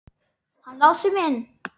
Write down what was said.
Hann Lási minn!